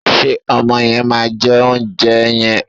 Ṣé ọmọ yẹn máa jẹ oúnjẹ yẹn?